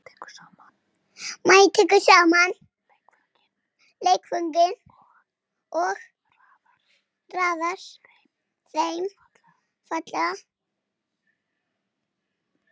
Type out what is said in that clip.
Mæja tekur saman leikföngin og raðar þeim fallega.